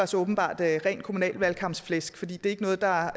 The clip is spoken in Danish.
så åbenbart var ren kommunalvalgkampsflæsk for det er ikke noget der